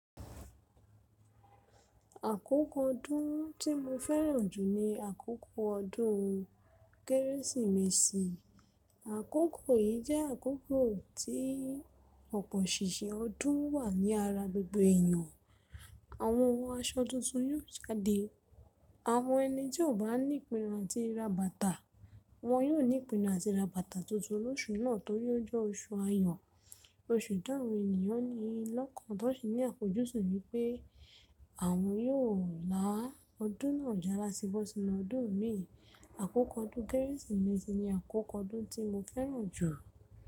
Àkókò ọdún tí mo fẹ́ràn jù ni àkókò ọdún Kérésìmesì. Àkókò yìí jẹ́ àkókò tí pọ̀pọ̀ ṣìnṣìn ọdún wà ní ara gbogbo èèyàn. Àwọn ọ̀wọ́ aṣọ tuntun yóò jáde. Àwọn ẹni tí ò bá ní ìpinnu àti ra bàtà, wọn yóò ní ìpinnu àti ra bàtà tuntun lóṣù náà tó rí ó jẹ́ oṣù ayọ̀. Oṣù táwọn ènìyàn ni lọ́kàn tó ṣì ní àfojúsùn wípé àwọn yóò la ọdún náà já láti bọ́ sínu ọdún mìí. Àkókò ọdún Kérésìmesì ní àkókò ọdún tí mo fẹ́ràn jù.